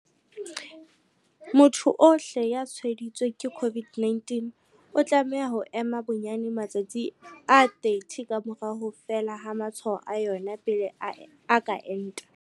Motho ohle ya tshwaeditsweng ke COVID-19 o tlameha ho ema bonyane matsatsi a 30 ka mora ho fela ha matshwao a yona pele a ka enta.